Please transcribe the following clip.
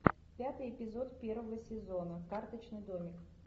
пятый эпизод первого сезона карточный домик